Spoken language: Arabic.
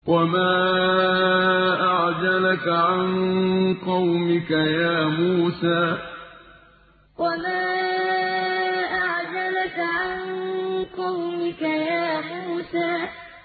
۞ وَمَا أَعْجَلَكَ عَن قَوْمِكَ يَا مُوسَىٰ ۞ وَمَا أَعْجَلَكَ عَن قَوْمِكَ يَا مُوسَىٰ